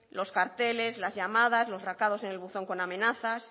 los carteles las llamadas los recados en el buzón con amenazas